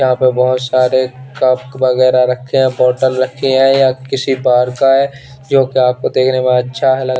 यहाँ पे बहोत सारे कप वगेरा रखे हैं बॉटल रखी हैं या किसी बाहर का हैं जोकी आपको देखने में अच्छा लग--